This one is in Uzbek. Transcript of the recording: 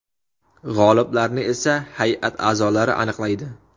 G‘oliblarni esa hay’at a’zolari aniqlaydi.